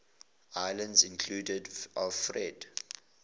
islands included alfred